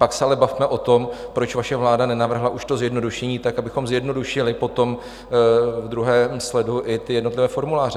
Pak se ale bavme o tom, proč vaše vláda nenavrhla už to zjednodušení tak, abychom zjednodušili potom v druhém sledu i ty jednotlivé formuláře.